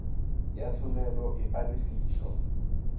ya thomelo e a lefišwa